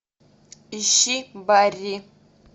ищи барри